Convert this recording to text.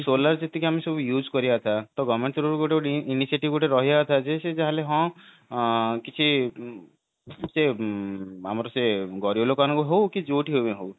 solar ଆମେ ଯେତିକି use କରିବା ଟା ତ government ତରଫରୁ ସେ ଗୋଟେ ଗୋଟେ ରହିବା କଥା ଯେ ସେ ହଁ କିଛି ଆମର ସେ ଗରିବ ଲୋକମାନଙ୍କର ହଉ କି ଯୋଉଠି ବି ହଉ